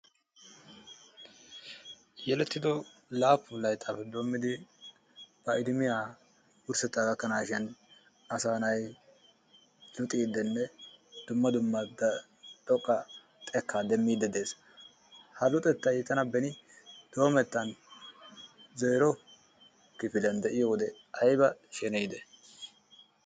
Yelettido laappun layttaappe doommidi ba idimiya asaa na'ay luxiiddinne dumma dumma xekkaa demmiiddi dees. Ha luxettay tana beni doomettan zeero kifiliyan de'iyo wode ayba sheneyide?